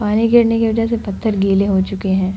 पानी गिरने की वजह से पत्थर गीले हो चुके है।